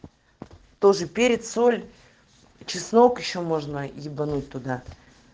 тоже перец соль чеснок ещё можно ебануть туда